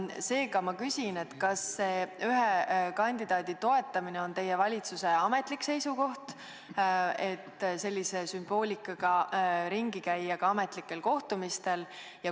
Seega ma küsin, kas see ühe kandidaadi toetamine on teie valitsuse ametlik seisukoht, et võib sellise sümboolikaga ringi käia ka ametlikel kohtumistel.